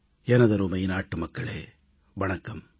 எனதருமை நாட்டு மக்களே வணக்கம்